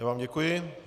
Já vám děkuji.